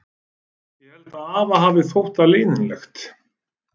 Ég held að afa hafi þótt það leiðinlegt.